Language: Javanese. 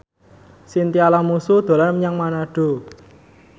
Chintya Lamusu dolan menyang Manado